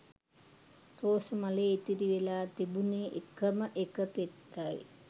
රෝස මලේ ඉතිරි වෙල‍ා තිබුණෙ එකම එක පෙත්තයි